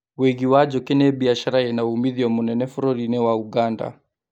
Wũigi wa njũki nĩ biashara ĩna umithio mũnene bũrũri-inĩ wa Ũganda